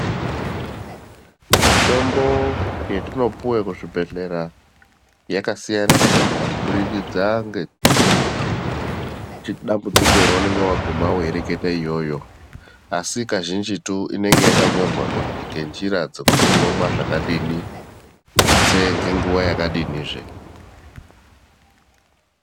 Mitombo yetinopuwa kuzvibhedhlera yakasiyana-siyana, kubudikidza ngedambudziko raunenge waguma weireketa iyoyo, asi kazhinjitu inenge yakanyorwa ngenjira dzokuti unomwa zvakadini, kuti tutsee ngenguwa yakadinizve.